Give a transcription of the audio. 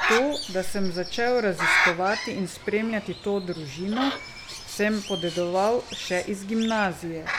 To, da sem začel raziskovati in spremljati to družino, sem podedoval še iz gimnazije.